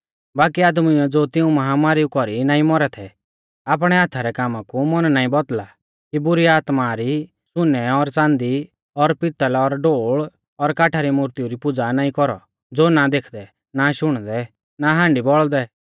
बाकी आदमीउऐ ज़ो तिऊं माहामारीऊ कौरी नाईं मौरै थै आपणै हाथा रै कामा कु मन नाईं बौदल़ा कि बुरी आत्मा री सुनै और च़ांदी और पितल़ और ढोल़ और काठा री मुर्तिऊ री पुज़ा नाईं कौरौ ज़ो ना देखदै ना शुणदै ना हाण्डी बौल़दै